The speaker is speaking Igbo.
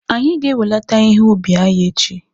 Anyị ga-enwelata ihe ubi anyị echi